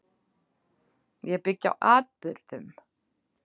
Ég byggi á atburðum.